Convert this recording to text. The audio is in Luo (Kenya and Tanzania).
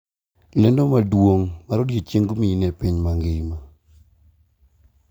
Lendo maduong' mar odiechieng mine epiny mangima